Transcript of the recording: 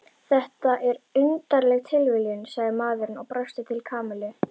Þetta er undarleg tilviljun sagði maðurinn og brosti til Kamillu.